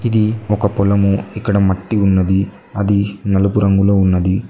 ఇది ఒక పొలము ఇక్కడ మట్టి ఉన్నది అది నలుగు రంగులో ఉన్నది.